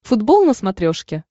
футбол на смотрешке